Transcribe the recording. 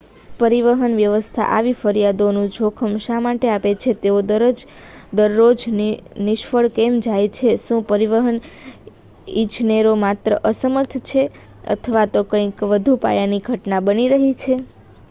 પરિવહન વ્યવસ્થા આવી ફરિયાદોનું જોખમ શા માટે આપે છે તેઓ દરરોજ નિષ્ફળ કેમ જાય છે શું પરિવહન ઇજનેરો માત્ર અસમર્થ છે અથવા તો કંઈક વધુ પાયાની ઘટના બની રહી છે